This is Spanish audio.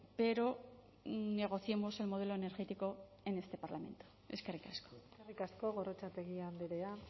pero negociemos el modelo energético en este parlamento eskerrik asko eskerrik asko gorrotxategi andrea